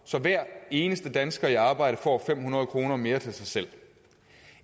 så hver eneste dansker i arbejde får fem hundrede kroner mere til sig selv